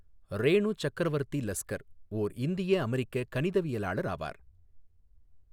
ரேணு சக்கரவா்த்தி லஸ்கா் ஓா் இந்திய அமெரிக்க கணிதவியலாளர் ஆவார்.